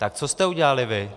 Tak co jste udělali vy?